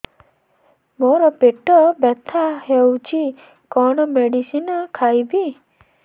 ମୋର ପେଟ ବ୍ୟଥା ହଉଚି କଣ ମେଡିସିନ ଖାଇବି